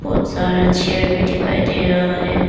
बहोत सारा चेयर दिखाई दे रहा है।